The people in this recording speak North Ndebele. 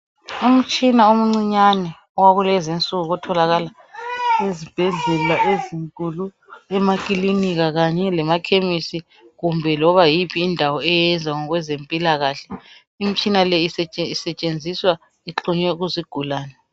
Umtshina omncinyane owakulezinsuku otholokala ezibhedlela ezinkulu emakilinika kanye lemakhemisi kumbe loba yiphi indawo eyenza ngokwezempilakahle, imtshina le isetshenziswa ixhunywe kuzigulani.